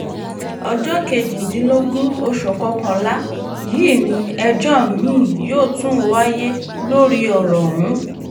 ọjọ́ kejìdínlógún oṣù kọkànlá yìí ni ẹjọ́ mi-ín yóò tún wáyé lórí ọ̀rọ̀ ọ̀hún